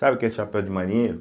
Sabe o que é chapéu de marinheiro?